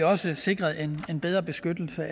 også sikret en en bedre beskyttelse